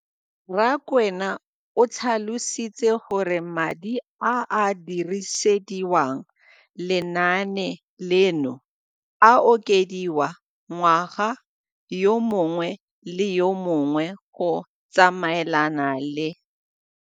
Rakwena o tlhalositse gore madi a a dirisediwang lenaane leno a okediwa ngwaga yo mongwe le yo mongwe go tsamaelana le.